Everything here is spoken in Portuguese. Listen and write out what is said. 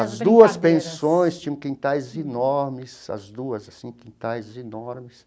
As duas pensões tinham quintais enormes, as duas, assim, quintais enormes.